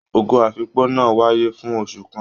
Ogo afikpo náà wáyé fún oṣù kàn.